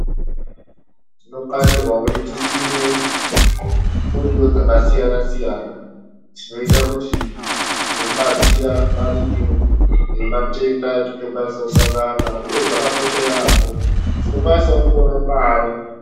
Tinokarirwe kuti tisime miriwo dzakasiyana siyana dzinoita kuti dzinotibatsira maringe nematenda atinosangana nawo uyezve zvakakosha yambo tinokwanisa kuonawo mare.